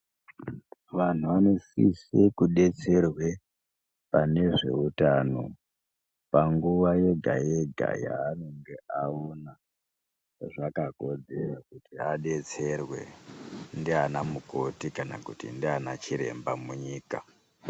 Vanhu vanosise kudetserwe pane zveutano panguwa yega yega yaanonga aona zvakakodzera kuti adetserwe ndiana mukoti kana kuti ndiana chiremba munyika.